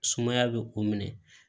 Sumaya bɛ o minɛ